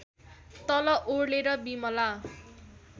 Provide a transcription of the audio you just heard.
तल ओर्लेर बिमला